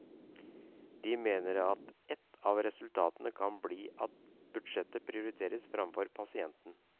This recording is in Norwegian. De mener at et av resultatene kan bli at budsjettet prioriteres fremfor pasienten.